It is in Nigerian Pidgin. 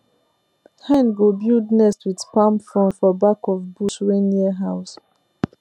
hen go build nest with palm frond for back of bush wey near house